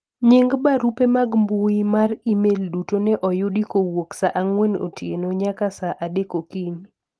nying barupe mag mbui mar email duto ne oyudi kowuok saa ang'wen otieno nyaka saa adek okinyi